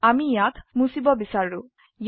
ধৰক আমি ইয়াক মুছিব বিছাৰো